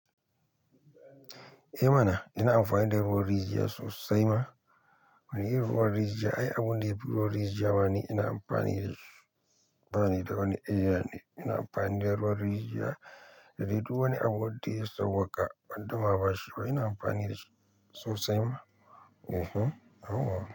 Eh mana ina amfani da ruwan rijiya sosai ma. Wani irin ruwan rijiya ai abun da yafi ruwan rijiya ma ni ina amfani da shi bani da wani eh yane. Ina amfani da ruwan rijiya da dai duk wani abu wanda ya sauwaka wan da maɓashi ba. Ina amfani da shi sosai ma. Eh he, yawwa.